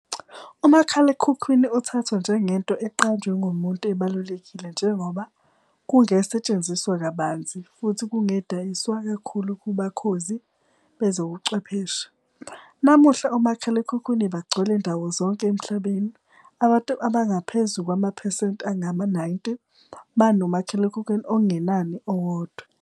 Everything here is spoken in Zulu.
uMakhalekhukhwini uthathwa njengento eqanjwe ngumuntu ebalulekile njengoba kungesetshenziswa kabanzi futhi kungedayiswa kakhulu kubakhozi bezobuchwepheshe. Namuhla omakhalekhukhwini bagcwele ndawozonke emhlabeni, abantu abangaphezu kwamaphesenti angama-90 banomakhalekhukhwini okungenani owodwa.